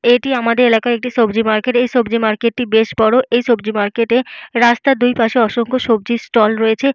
এটি আমাদের এলাকার একটি সবজি মার্কেট । এই সবজি মার্কেট -টি বেশ বড় । এই সবজি মার্কেট -এ রাস্তার দুইপাশে অসংখ্য সবজির ষ্টল রয়েছে।